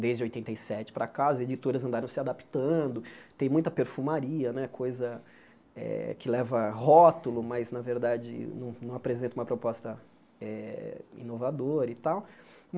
desde oitenta e sete para cá, as editoras andaram se adaptando, tem muita perfumaria né, coisa eh que leva rótulo, mas, na verdade, não apresenta uma proposta eh inovadora e tal.